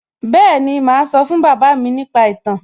Bẹ́ẹ̀ni, màá sọ fún bàbá mi nípa ìtàn